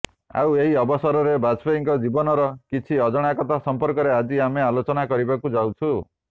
ଆଉ ଏହି ଅବସରରେ ବାଜପେୟୀଙ୍କ ଜୀବନର କିଛି ଅଜଣା କଥା ସଂପର୍କରେ ଆଜି ଆମେ ଆଲୋଚାନା କରିବାକୁ ଯାଉଛୁ